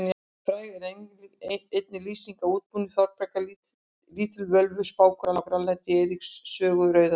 Fræg er einnig lýsing af útbúnaði Þorbjargar lítilvölvu spákonu á Grænlandi í Eiríks sögu rauða.